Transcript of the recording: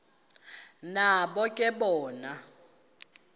nabo ke bona